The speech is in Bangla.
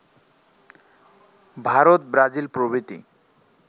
ভারত ব্রাজিল প্রভৃতি